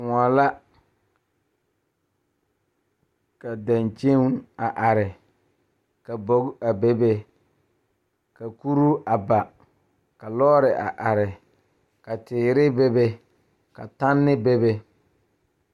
Noba yaga la bebe dɔɔba ane pɔgeba kaa pɔge kaŋ su kpare doɔre kaa dɔɔ meŋ be a ba niŋe saŋ a su Gaana falakyɛ kpare a seɛ Gaana falakyɛ kuri ka bebe.